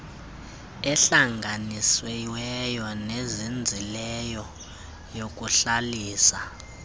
ehlanganisiweyo nezinzileyo yokuhlalisa